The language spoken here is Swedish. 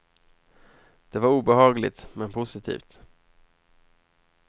Det var obehagligt, men positivt.